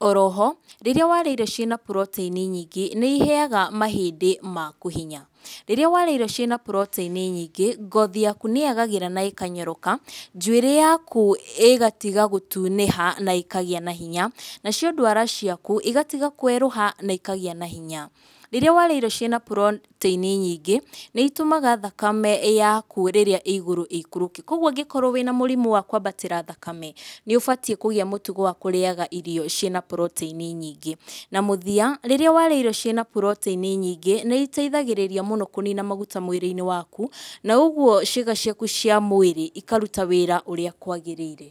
oroho rĩrĩa warĩa irio cĩna protein nyingĩ, nĩ iheyaga mahĩndĩ maku hinya, rĩrĩa warĩa irio cĩna protein nyingĩ, ngothi yaku nĩ yagagĩra na ĩkanyoroka, njuĩrĩ yaku ĩgatiga gũtunĩha, na ĩkagĩa na hinya, nacio ndwara ciaku igatiga kwerũha na ikagĩa na hinya, rĩrĩa warĩa irio cina protein nyingĩ nĩ itũmaga thakame yaku rĩrĩa ĩgũrũ ĩikũrũke, koguo ũngĩkorwo wĩna mũrimũ wa kwabatĩra thakame, nĩ ũbatiĩ kũgĩa na mũtugo wa kũrĩyaga irio cĩna protein nyingĩ, na mũthiya, rĩrĩa warĩa irio cĩna protein nyingĩ, nĩ itethagĩrĩria mũno kũnina maguta mwĩrĩ-inĩ waku, na ũguo ciĩga ciaku cĩa mwĩrĩ ikaruta wĩra ũrĩa kwagĩrĩire.